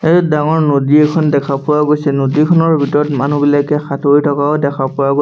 এই ডাঙৰ নদী এখন দেখা পোৱা গৈছে নদী খনৰ ভিতৰত মানুহ বিলাকে সাঁতুৰি থকাও দেখা পোৱা গৈ--